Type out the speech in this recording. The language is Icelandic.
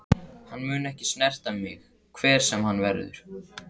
Hann mun ekki snerta mig hver sem hann verður.